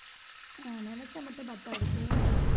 நினைச்சா மட்டும் பத்தாது போணும்